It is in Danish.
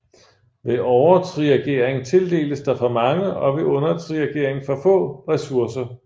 Ved overtriagering tildeles der for mange og ved undertriagering for få ressourcer